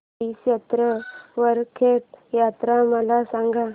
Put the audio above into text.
श्री क्षेत्र वरखेड यात्रा मला सांग